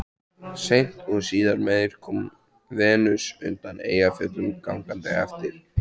Seint og síðar meir kom Venus undan Eyjafjöllum gangandi eftir